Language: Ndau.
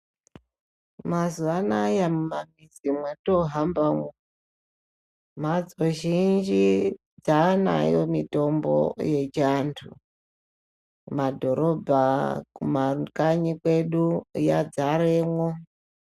Mazuwa anaya mumamizi mwatihambamwo mhatso zhinji dzaanayo mitombo yechiantu kumadhorobha kumakanyi kwedu yadzaremwo.